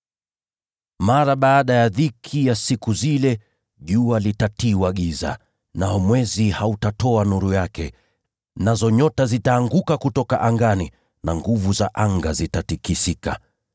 “Mara baada ya dhiki ya siku zile, “ ‘jua litatiwa giza, nao mwezi hautatoa nuru yake; nazo nyota zitaanguka kutoka angani, na nguvu za anga zitatikisika.’